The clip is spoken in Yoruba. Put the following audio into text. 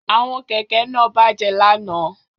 Àwọn kẹ̀kẹ́ kẹ̀kẹ́ náà bàjẹ́ lánàá